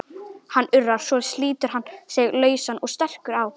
Hann urrar, svo slítur hann sig lausan og stekkur á